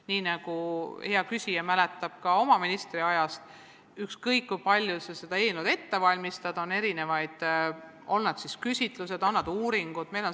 Nii nagu hea küsija ka oma ministriajast mäletab, siis ükskõik kui palju sa eelnõu ette valmistad, on ikka erinevaid arvamusi, põhinegu need siis küsitlustel või uuringutel.